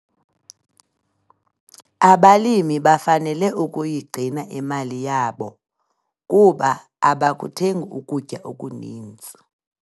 Abalimi bafanele ukuyigcina imali yabo kuba abakuthengi ukutya okuninzi.